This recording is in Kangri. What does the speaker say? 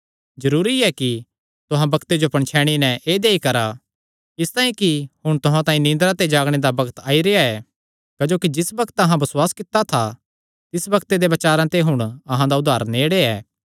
जरूरी ऐ कि तुहां बग्ते जो पणछैणी नैं ऐदेया ई करा इसतांई कि हुण तुहां तांई निदरां ते जागणे दा बग्त आई रेह्आ ऐ क्जोकि जिस बग्त अहां बसुआस कित्ता था तिस बग्ते दे बचारां ते हुण अहां दा उद्धार नेड़े ऐ